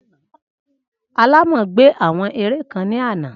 Alámò gbé àwọn ère kan ní àná